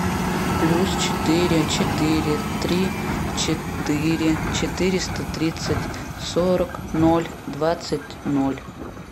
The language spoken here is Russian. плюс четыре четыре три четыре четыреста тридцать сорок ноль двадцать ноль